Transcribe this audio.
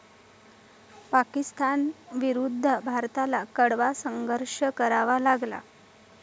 पाकिस्तानविरुद्ध भारताला कडवा संघर्ष करावा लागला.